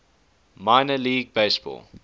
minor league baseball